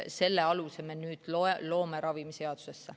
Selle aluse me nüüd loome ravimiseaduses.